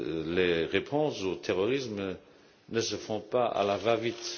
Les réponses au terrorisme ne se font pas à la va vite.